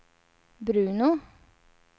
Bruno